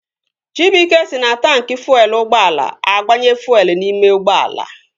Chibuike si na taanki fuelu ụgbọala agbanye fuelu n'ime ụgbọala